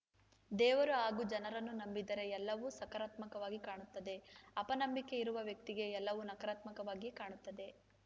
ದೇವರು ಹಾಗೂ ಜನರನ್ನು ನಂಬಿದರೆ ಎಲ್ಲವೂ ಸಕಾರಾತ್ಮಕವಾಗಿ ಕಾಣುತ್ತದೆ ಅಪನಂಬಿಕೆ ಇರುವ ವ್ಯಕ್ತಿಗೆ ಎಲ್ಲವೂ ನಕರಾತ್ಮಕವಾಗಿಯೇ ಕಾಣುತ್ತದೆ